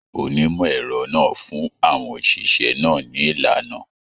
Onimọ ẹrọ náà fún àwọn oṣiṣẹ náà ni ìlànà.